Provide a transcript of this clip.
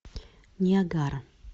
ниагара